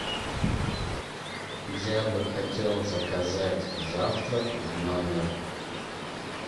я бы хотел заказать завтрак в номер